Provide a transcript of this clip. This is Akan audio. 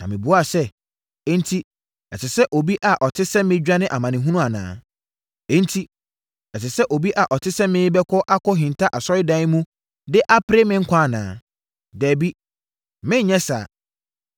Na mebuaa sɛ, “Enti, ɛsɛ sɛ obi a ɔte sɛ me dwane amanehunu anaa? Enti, ɛsɛ sɛ obi a ɔte sɛ me bɛkɔ akɔhinta Asɔredan mu de apere me nkwa anaa? Dabi, merenyɛ saa!”